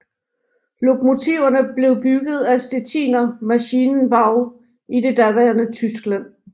Lokomotiverne blev bygget af Stettiner Maschinenbau i det daværende Tyskland